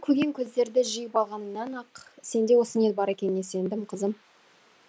көгенкөздерді жиып алғаныңнан ақ сенде осы ниет бар екеніне сендім қызым